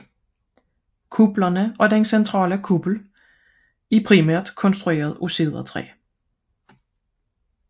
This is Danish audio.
Disse kupler og den centrale kuppel er hovedsageligt konstrueret af cedertræ